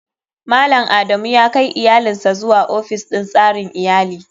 Malam adamu yakai iyalinsa zuwa ofis din tsarin iyali.